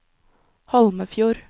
Holmefjord